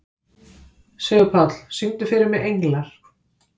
Sigurpáll, syngdu fyrir mig „Englar“.